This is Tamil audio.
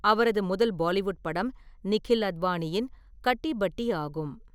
அவரது முதல் பாலிவுட் படம் நிகில் அத்வானியின் கட்டி பட்டி ஆகும்.